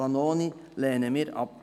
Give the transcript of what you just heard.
Vanoni lehnen wir ab.